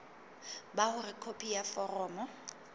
ba hore khopi ya foromo